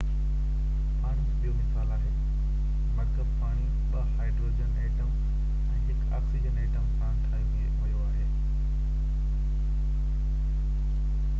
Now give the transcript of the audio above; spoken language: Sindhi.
پاڻي هڪ ٻيو مثال آهي مرڪب پاڻي ٻہ هائدروجن ايٽم ۽ هڪ آڪسيجن ايٽم سان ٺاهيو ويو آهي